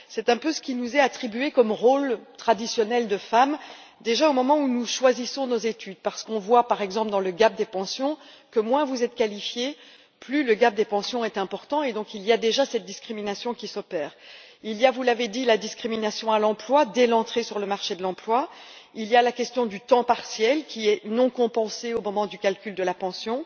C'est un peu ce qui nous est attribué comme rôle traditionnel de femme, déjà au moment où nous choisissons nos études parce qu'on voit, par exemple, que moins vous êtes qualifiée plus l'écart des pensions est important et donc il y a déjà cette discrimination qui s'opère. Il y a, vous l'avez dit, la discrimination à l'emploi dès l'entrée sur le marché de l'emploi, il y a la question du temps partiel, qui est non compensé au moment du calcul de la pension,